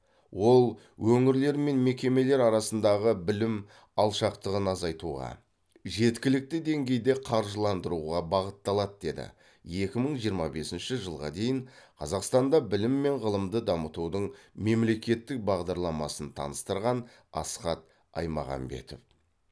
ол өңірлер мен мекемелер арасындағы білім алшақтығын азайтуға жеткілікті деңгейде қаржыландыруға бағытталады деді екі мың жиырма бесінші жылға дейін қазақстанда білім мен ғылымды дамытудың мемлекеттік бағдарламасын таныстырған асхат аймағамбетов